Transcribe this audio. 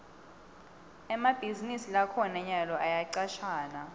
emabhizinisi lakhona nyalo ayacashana